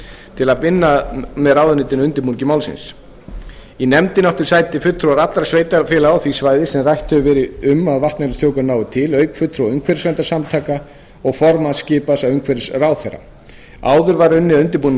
til að vinna með ráðuneytinu að undirbúningi málsins í nefndinni áttu sæti fulltrúar allra sveitarfélaga á því svæði sem rætt hefur verið um að vatnajökulsþjóðgarður nái til auk fulltrúa umhverfisverndarsamtaka og formanns skipaðs af umhverfisráðherra áður var unnið að undirbúningi